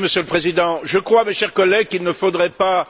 Monsieur le Président, chers collègues, je crois qu'il ne faudrait pas